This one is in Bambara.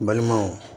N balimaw